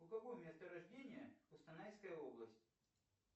у кого место рождения костанайская область